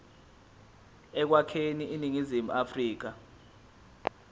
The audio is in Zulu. ekwakheni iningizimu afrika